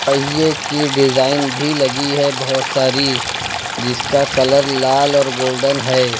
पहिए की डिजाइन भी लगी है बहोत सारी जिसका कलर लाल और गोल्डन है।